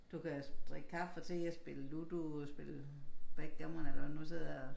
Du kan drikke kaffe og te og spille ludo spille backgammon eller hvad du sidder og